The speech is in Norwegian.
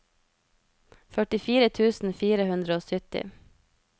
førtifire tusen fire hundre og sytti